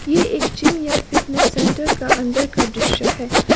ये एक जिम या फिटनेस सेंटर का अंदर का दृश्य है।